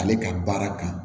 Ale ka baara kan